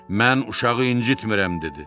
Mən uşağı incitmirəm dedi.